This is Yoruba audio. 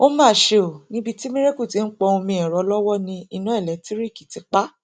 ó mà ṣe o níbi tí miracle ti ń pọn omi ẹrọ lọwọ ni iná ẹlẹńtìrìkì ti pa á